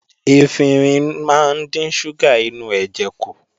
Efinrin máa ń dín ṣúgà inú ẹ̀jẹ̀ kù